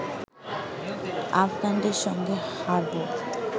আফগানদের সঙ্গে হারবো